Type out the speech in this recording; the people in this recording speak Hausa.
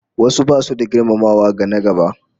Wasu basu da girmamawa ga na-gaba